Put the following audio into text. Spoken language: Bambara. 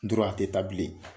dɔrɔn a tɛ taa bilen.